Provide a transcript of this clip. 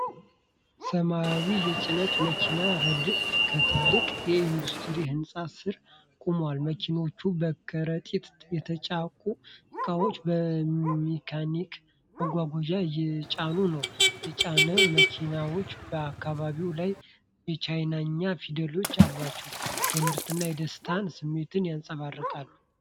ሰማያዊ የጭነት መኪኖች ረድፍ ከትልቅ የኢንዱስትሪ ህንፃ ስር ቆሟል። መኪኖቹ በከረጢት የታጨቁ እቃዎችን በሜካኒካል ማጓጓዣዎች እየጫኑ ነው። የጭነት መኪናዎቹ በካቢናቸው ላይ የቻይንኛ ፊደሎች አሏቸው፤ የምርትና የደስታ ስሜትን ያንፀባርቃል።